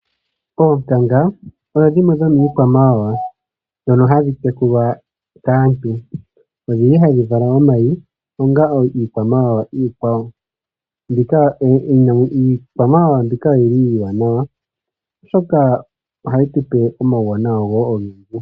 Oonkanga odho dhimwe dhomiikwamawawa ndhono hadhi tekulwa kaantu. Odhili hadhi vala omayi ngaashi iikwamawawa iikwawo. Iikwamawawa mbika oyili iiwanawa oshoka ohayi tupe omauwanawa ogendji.